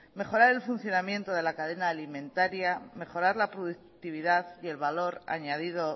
mejorar el funcionamiento de la cadena alimentaria mejorar la productividad y el valor añadido